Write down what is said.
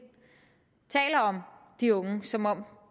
taler om de unge som om